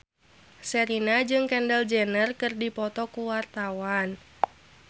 Sherina jeung Kendall Jenner keur dipoto ku wartawan